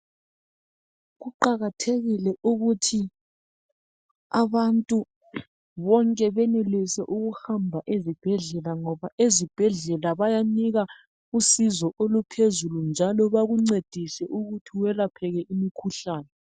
Kuqakathekile ukuthi abantu bonke benelise ukuhamba ezibhedlela ngoba ezibhedlela bayanikana usizo oluphezulu njalo bakuncedise ukuthi welapheke umkhuhlane.